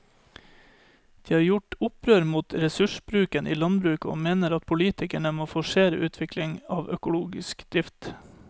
De har gjort opprør mot ressursbruken i landbruket og mener at politikerne må forsere utviklingen av økologisk drift.